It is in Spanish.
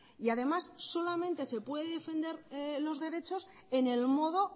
y además solamente se puede defender los derechos en el modo